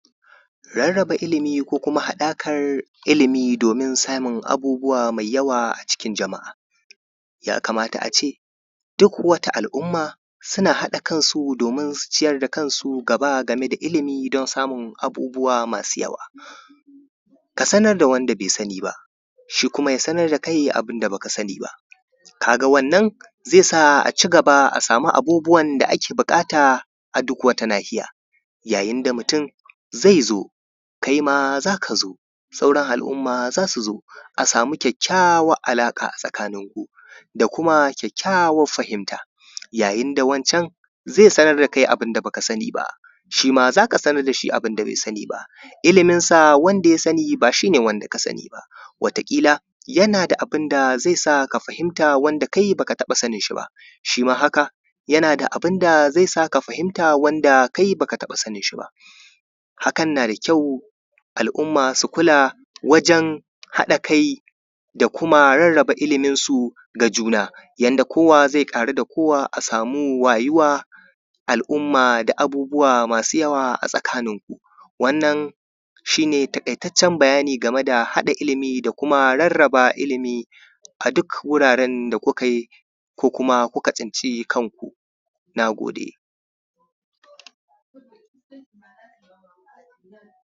Rarrabe ilimi ko kuma haɗakar ilimi don samun abubuwa masu yawa a cikin jama’a. Yakamata a ce duk wata al’umma, suna haɗa kansu domin su ciyar da kansu gaba game da ilimi domin su samu abubuwa masu yawa. Ka sanar da wanda bai sani ba, shi kuma ya sanar da kai abin da baka sani ba. Ka ga wannan zai a cigaba a sami abubuwan da ake buƙata a duk wata nahiya. Yayin da mutun zai zo, kaima za ka zo, sauran al’umma za ka zo, a sami kyakkyawar alaƙa a tsakaninku, da kuma kyakkyawar fahimta. Yayin da wancan zai sanar da kai abin da ba ka sani ba, shi ma za ka sanar da shi abin da bai sani ba. Iliminsa wanda ya sani ba shi ne wanda ka sani ba. Wata ƙila yana da abin da zai sa ka fahimta wanda kai baka taɓa sanin shi ba, shi ma haka yana da abin da zai sa ka fahimta wanda kai baka taɓa sanin shi ba, hakan na kyau al’umma su kula wajan haɗa kai da kuma rarraba iliminsu ga juna, yanda kowa zai ƙaru da kowa a samu wayuwa. al’umma da abubuwa masu yawa a tsakaninku. Wannan shi ne taƙaitaccen bayani game da haɗa ilimi da rarraba ilimi a duk wuraren da kukai ko kuma kuka tsinci kan ku. Na gode,